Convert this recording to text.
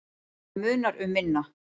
Og það munar um minna.